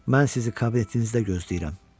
Mən sizi kabinetinizdə gözləyirəm.